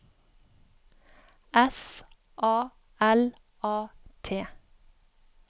S A L A T